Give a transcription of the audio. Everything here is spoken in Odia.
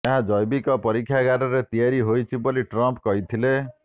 ଏହା ଜୈବିକ ପରୀକ୍ଷାଗାରରେ ତିଆରି ହୋଇଛି ବୋଲି ଟ୍ରମ୍ପ କହିଥିଲେ